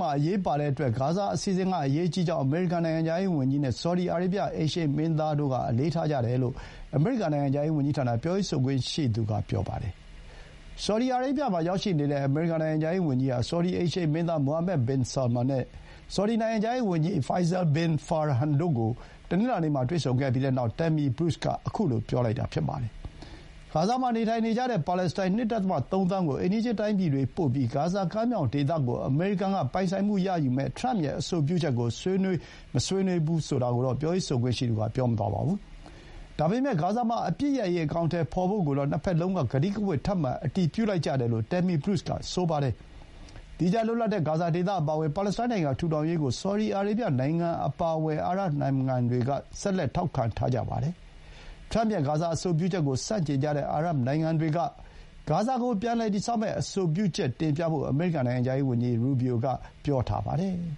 မှာ အရေးပါတဲ့အတွက် ဂါဇာအစီအစဥ်က အရေးကြီးကြောင်း အမေရိကန် နိုင်ငံခြားရေးဝန်ကြီးနဲ့ ဆော်ဒီအာရေးဗျ အိမ်ရှေ့မင်းသားတို့က အလေးထားကြတယ်လို့ အမေရိကန် နိုင်ငံခြားရေးဝန်ကြီးဌာန ပြောရေးဆိုခွင့်ရှိသူ Tammy Bruce က ပြောပါတယ်။ ဆော်ဒီအာရေးဗျမှာ ရောက်ရှိနေတဲ့ အမေရိကန် နိုင်ငံခြားရေးဝန်ကြီးဟာ ဆော်ဒီ အိမ်ရှေ့မင်းသား Mohammed bin Salman နဲ့ ဆော်ဒီ နိုင်ငံခြားရေးဝန်ကြီး Faisal bin Farhan တို့ကို တနင်္လာနေ့မှာ တွေ့ဆုံခဲ့ပြီးနောက် Tammy Bruce က ခုလိုပြောလိုက်တာ ဖြစ်ပါတယ်။ ဂါဇာမှာ နေထိုင်နေကြတဲ့ ပါလက်စတိုင်း ၂.၃ သန်းကို အိမ်နီးချင်းတိုင်းပြည်တွေ ပို့ပြီး ဂါဇာကမ်းမြောင်ဒေသကို အမေရိကန်က ပိုင်ဆိုင်မှုရယူမယ့် ထရမ့်ရဲ့ အဆိုပြုချက်ကို ဆွေးနွေး မဆွေးနွေးကိုတော့ ပြောရေးဆိုခွင့်ရှိသူက မပြောပါဘူး။ ဒါပေမဲ့ ဂါဇာမှာ အပစ်ရပ်ရေး အကောင်အထည်ဖော်ဖို့ကိုတော့ နှစ်ဘက်လုံးက ကတိကဝတ် ထပ်မံ အတည်ပြုလိုက်ကြတယ်လို့ Tammy Bruce က ပြောပါတယ်။ သီးခြား လွတ်လပ်တဲ့ ဂါဇာဒေသအပါအဝင် ပါလက်စတိုင်းနိုင်ငံ ထူထောင်ရေးကို ဆော်ဒီအာရေးဗျနိုင်ငံ အပါအဝင် အာရပ်နိုင်ငံတွေက ဆက်လက် ထောက်ခံထားကြတာပါ။ ထရမ့်ရဲ့ ဂါဇာ အဆိုပြုချက်ကို ဆန့်ကျင်ကြတဲ့ အာရပ်နိုင်ငံတွေအနေနဲ့ ဂါဇာကို ပြန်လည်တည်ဆောက်ရေး သူတို့ရဲ့ သီးခြားအဆိုပြုချက်တွေကို တင်ပြသင့်တယ်လို့ အမေရိကန် နိုင်ငံခြားရေးဝန်ကြီး Rubio က ပြောထားပါတယ်။